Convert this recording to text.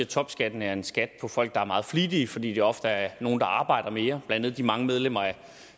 topskatten er en skat for folk der er meget flittige fordi de ofte er nogle der arbejder mere blandt andet de mange medlemmer af